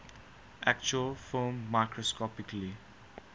actual film microscopically